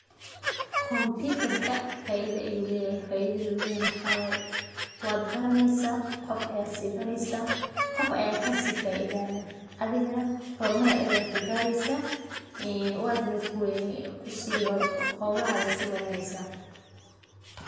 Kompitarka faida ayu leyahay, faidadhi u leyahy nah waxa wayeh wad baraneysa qoof bad si bareysa, qof aya kasi faidayah adhiganah hormar ayad kugareysa holahaga nah wad siwadhaneysa.